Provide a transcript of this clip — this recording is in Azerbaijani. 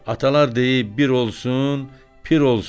Atalar deyib: “Bir olsun, pir olsun!”